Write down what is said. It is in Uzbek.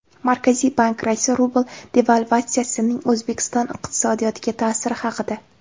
Markaziy bank raisi rubl devalvatsiyasining O‘zbekiston iqtisodiyotiga ta’siri haqida.